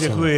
Děkuji.